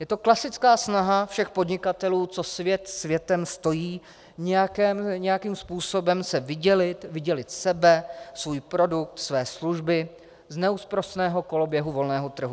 Je to klasická snaha všech podnikatelů, co svět světem stojí, nějakým způsobem se vydělit, vydělit sebe, svůj produkt, své služby z neúprosného koloběhu volného trhu.